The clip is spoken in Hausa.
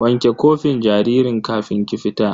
Wanke kofin jaririn kafin ki fita!